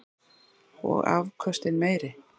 Og afköstin meiri.